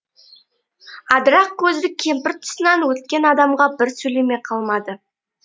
адырақ көзді кемпір тұсынан өткен адамға бір сөйлемей қалмайды